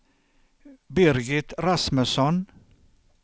Birgit Rasmusson